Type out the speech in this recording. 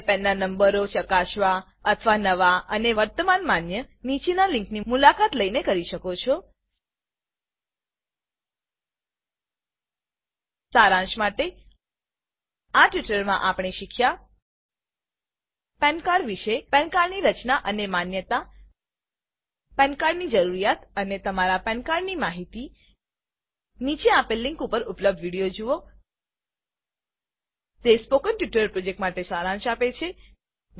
તમે પેન નંબરો ચકાસવા અથવા નવા અને વર્તમાન માન્ય નીચેના લિંકની મુલાકાત લઈને કરી શકો છો સારાંશ માટે આ ટ્યુટોરીયલમાં આપને શીખ્યા પાન cardપેન કાર્ડ વિશે પાન cardપેન કાર્ડ ની રચના અને માન્યતા પાન cardપેન કાર્ડ જરૂરિયાત અને તમારા પાન cardપેન કાર્ડ માહિતી નીચે આપેલ લીંક પર ઉપલબ્ધ વિડીયો જુઓ તે સ્પોકન ટ્યુટોરીયલ પ્રોજેક્ટનો સારાંશ આપે છે